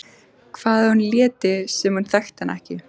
Hvað ef hún léti sem hún þekkti hann ekki?